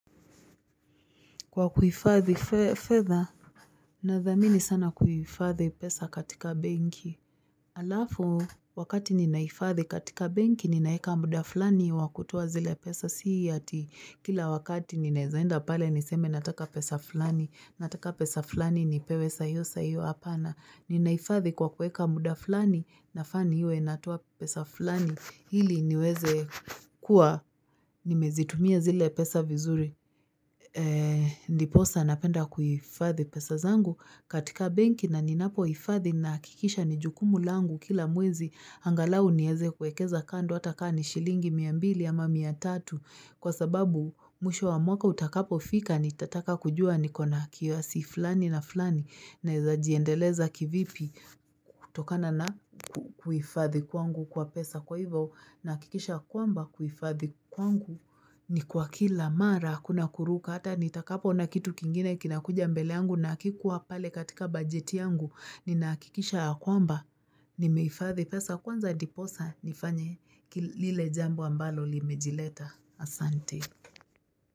Kwa kuifadhi fedha, nadhamini sana kuifadhi pesa katika benki. Alafu, wakati ninaifadhi katika benki, ninaeka muda fulani wa kutoa zile pesa. Si hati kila wakati ninaeza enda pale niseme nataka pesa fulani. Nataka pesa fulani nipewe saa hiyo saa hiyo hapana. Ninaifadhi kwa kuweka muda fulani, nafaa niwe natoa pesa fulani. Ili niweze kuwa, nimezitumia zile pesa vizuri. Ndiposa napenda kuifadhi pesa zangu katika benki na ninapohifadhi nahakikisha ni jukumu langu kila mwezi angalau nieze kuekeza kando hata ka ni shilingi mia mbili ama mia tatu Kwa sababu mwisho wa mwaka utakapofika nitataka kujua niko na kiasi fulani na fulani Naeza jiendeleza kivipi kutokana na kuifadhi kwangu kwa pesa kwa hivyo Nahakikisha kwamba kuifadhi kwangu ni kwa kila mara hakuna kuruka Hata nitakapoona kitu kingine kinakuja mbele yangu na hakikua pale katika bajeti yangu Ninahakikisha ya kwamba nimeifadhi pesa kwanza ndiposa nifanye lile jambo ambalo limejileta Asante.